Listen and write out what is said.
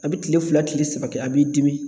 A bɛ tile fila tile saba kɛ a b'i dimi.